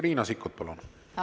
Riina Sikkut, palun!